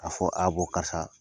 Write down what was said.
K 'a fɔ a bɔn karisa.